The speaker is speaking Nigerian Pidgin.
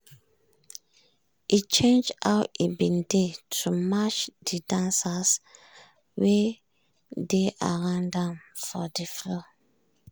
e change how e bin dey to match de dancers wey dey around ahm for de floor.